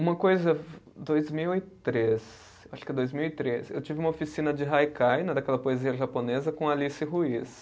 Uma coisa, dois mil e três, acho que dois mil e três, eu tive uma oficina de haikai, né daquela poesia japonesa, com Alice Ruiz.